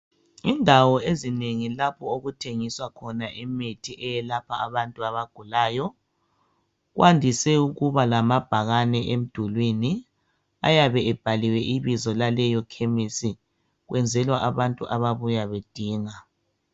Indawo ezinengi lapho okuthengiswa khona imithi eyelapha abantu abagulayo kwandise ukuba lamabhakane emdulwini ayabe ebhaliwe ibizo laleyo khemesi kwenzelwa abantu ababuya bedinga.